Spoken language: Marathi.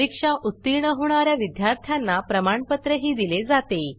परीक्षा उत्तीर्ण होणा या विद्यार्थ्यांना प्रमाणपत्रही दिले जाते